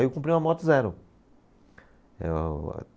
Aí eu comprei uma moto zero. Eh o